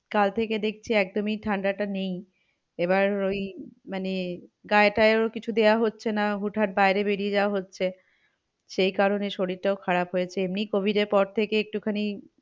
কাল থেকে দেখছি একদমই ঠান্ডাটা নেই। এবার ওই মানে গায়ে টায়েও কিছু দেওয়া হচ্ছে না। হুট হাট বাইরে বেরিয়ে যাওয়া হচ্ছে। সেই কারণে শরীরটাও খারাপ হয়েছে এমনি covid এর পর থেকে একটু খানি,